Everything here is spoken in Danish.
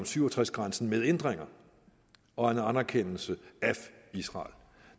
syv og tres grænsen med ændringer og en anerkendelse af israel